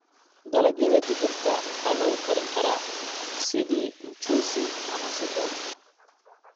Dalagyada digirta waxaa lagu karin karaa sidii mchuzi ama suxuun.